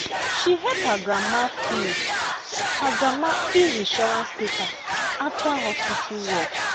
she help her grandma fill her grandma fill insurance paper after hospital work.